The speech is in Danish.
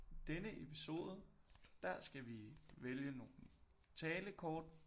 I denne episode der skal vi vælge nogle talekort